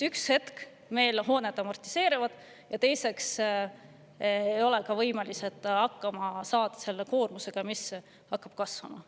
Ühel hetkel meil hooned amortiseeruvad ja me ei ole võimelised hakkama saama selle koormusega, mis hakkab kasvama.